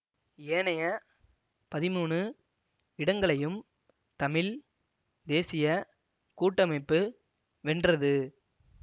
ஏனைய பதிமூனு இடங்களையும் தமிழ் தேசிய கூட்டமைப்பு வென்றது